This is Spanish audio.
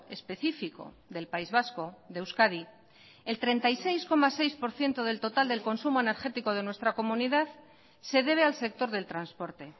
específico del país vasco de euskadi el treinta y seis coma seis por ciento del total del consumo energético de nuestra comunidad se debe al sector del transporte